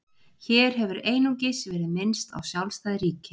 Hér hefur einungis verið minnst á sjálfstæð ríki.